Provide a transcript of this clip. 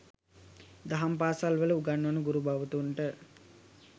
දහම් පාසල් වල උගන්වන ගුරු භවතුන්ට